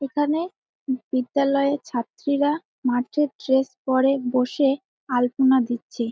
এখানে বিদ্যালয়ের ছাত্রীরা মাঠে ড্রেস পরে বসে আলপনা দিচ্ছে।